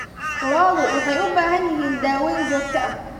Lo'du waxay u baahan yihiin daaweyn joogto ah.